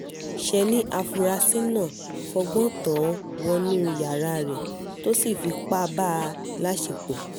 ṣe ni afurasí náà fọgbọ́n tàn án wọnú yàrá rẹ̀ tó sì fipá bá a láṣepọ̀